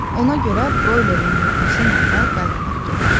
Ona görə broilerin yumurtası ilə da qayğanaq gedər.